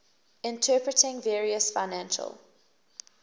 interpreting various financial